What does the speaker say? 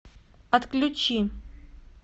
отключи